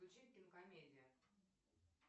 включи кинокомедия